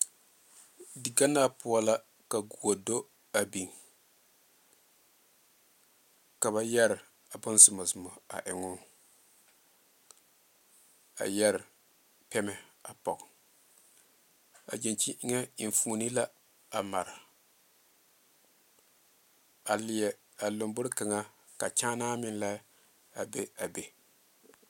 Diganaa poɔ la ka gɔdo a biŋ ka ba yere boŋ zɔmazɔma eŋee a yere pɛmɛ a poɔ a gyankyimɛ eŋa enfuune la a mare a leɛ a lanboɔre kaŋa ka kyaane meŋ la a be a be.